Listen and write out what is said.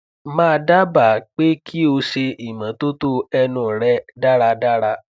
ma daba pe ki o se imototo enu re daradara